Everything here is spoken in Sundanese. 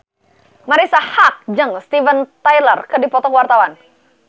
Marisa Haque jeung Steven Tyler keur dipoto ku wartawan